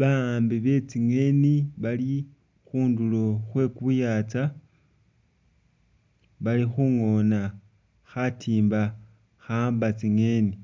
Ba'ambi be tsingeni bali khundulo khwe ku yaatsa bali khungoona khatimba kha'amba tsingeni.